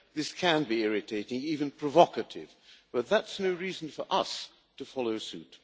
This can be irritating, even provocative, but that is no reason for us to follow suit.